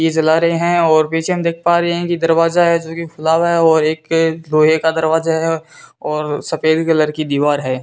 ये जला रहे है और पीछे हम देख पा रहे है की दरवाजा है जो की खुला हुआ है और एक लोहे का दरवाजा है और सफेद कलर की दीवार है।